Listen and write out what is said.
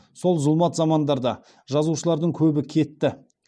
сол зұлмат замандарда жазушылардың көбі кетті